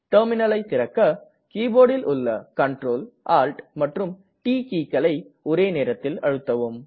terminal ஐ திறக்க கீபோர்டில் உள்ள Ctrl Alt மற்றும் ட் கீக்களை ஒரே நேரத்தில் அழுத்தவும்